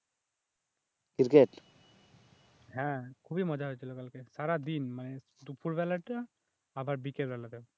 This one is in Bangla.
হ্যাঁ খুবই মজা হয়েছিল কালকে সারাদিন মানে দুপুর বেলাটা আবার বিকেলবেলাটা